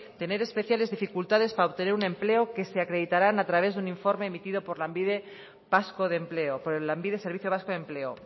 tener especiales dificultades para obtener un empleo que se acreditarán a través de un informe emitido por lanbide servicio vasco de empleo